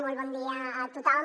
molt bon dia a tothom